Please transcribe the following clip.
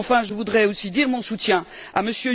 Enfin, je voudrais aussi dire mon soutien à M.